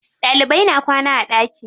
Ɗalibai na kwana a ɗaki.